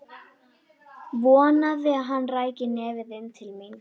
Vonaði að hann ræki nefið inn til mín.